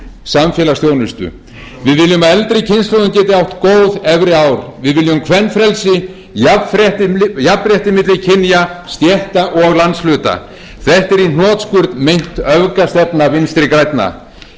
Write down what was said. samfélagsþjónustu við viljum að eldri kynslóðin geti átt góð efri ár við viljum kvenfrelsi jafnrétti milli kynja stétta og landshluta þetta er í hnotskurn meint öfgastefna vinstri grænna veruleikinn er að